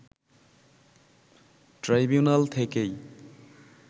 tribunal থেকেই